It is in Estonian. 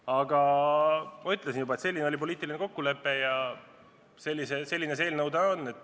Aga ma ütlesin juba, et selline oli poliitiline kokkulepe ja selline see eelnõu täna on.